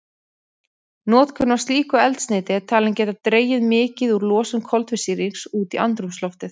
Notkun á slíku eldsneyti er talin geta dregið mikið úr losun koltvísýrings út í andrúmsloftið.